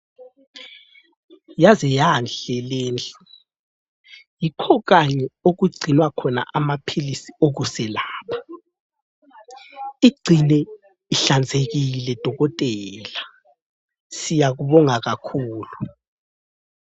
Yaze yanhle lindlu. Yikho kanye okugcinwa khona amaphilisi okuselapha. Igcine ihlanzekile dokotela! Siyakubonga kakhulu.